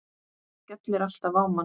Hann skellir alltaf á mann!